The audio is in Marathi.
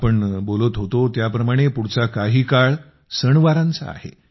आपण बोलत होतो त्याप्रमाणे पुढचा काही काळ सणवारांचा आहे